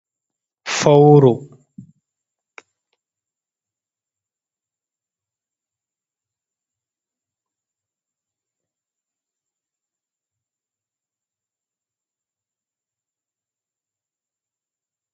Fowru, Fowru ɗo jooɗa haa ladde, nyamdu maaru kusel, ɓanndu maaru ɗo mari tuppe ɓaleeje, hunnduko maaru ɓaleejum. Ndu ɗo mari noppi ɗiɗi, ammaa ndu walaa luwal.